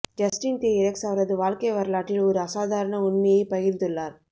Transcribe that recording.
Justin Theroux அவரது வாழ்க்கை வரலாற்றில் ஒரு அசாதாரண உண்மையை பகிர்ந்துள்ளார்